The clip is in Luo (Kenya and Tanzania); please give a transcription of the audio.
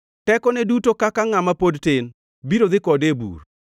Tekone duto kaka ngʼama pod tin biro dhi kode e bur.